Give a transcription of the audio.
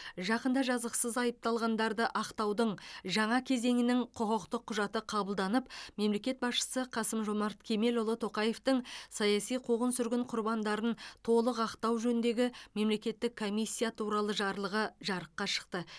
жақында жазықсыз айыпталғандарды ақтаудың жаңа кезеңінің құқықтық құжаты қабылданып мемлекет басшысы қасым жомарт кемелұлы тоқаевтың саяси қуғын сүргін құрбандарын толық ақтау жөніндегі мемлекеттік комиссия туралы жарлығы жарыққа шықты